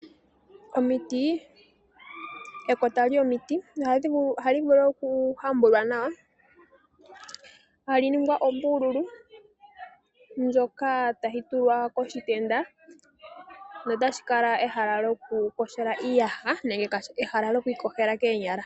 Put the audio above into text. Ekota lyomiti ohalivulu okuhambulwa nawa, etali ningwa ombululu, ndjoka tayitulwa koshitenda, notalikala ehala lyokuyogela iiyaha nenge ehala lyokwiiyogela koonyala.